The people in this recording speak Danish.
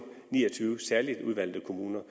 ni og tyve særligt udvalgte kommuner